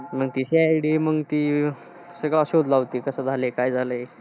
मग ती CID मग ती, सगळं शोध लावते सगळं कसं झालं. काय झालाय?